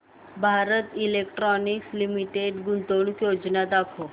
Bharat electronics limited गुंतवणूक योजना दाखव